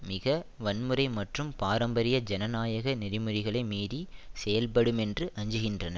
மிக வன்முறை மற்றும் பாரம்பரிய ஜனநாயக நெறிமுறைகளை மீறி செயல்படுமென்று அஞ்சுகின்றனர்